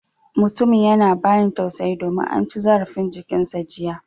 Mutumin yana bani tausayi domin an ci zarafin jikin sa jiya